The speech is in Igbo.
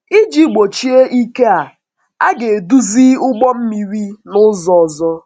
Iji gbochie ike a, a ga-eduzi ụgbọ mmiri n’ụzọ ọzọ.